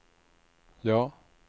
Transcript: ja